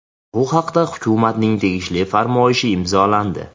Bu haqda hukumatning tegishli farmoyishi imzolandi.